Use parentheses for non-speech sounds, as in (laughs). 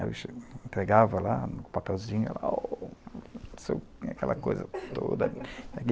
Eu entregava lá, no papelzinho, aquela coisa toda. (laughs)